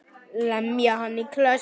Lemja hann í klessu.